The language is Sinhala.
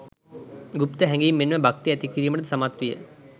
ගුප්ත හැඟීම් මෙන්ම භක්තිය ඇති කිරීමට ද සමත් විය.